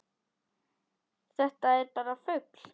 Þetta var bara fugl!